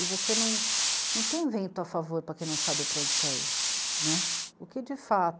E você não, não tem vento a favor para quem não sabe para onde quer ir, né. O que de fato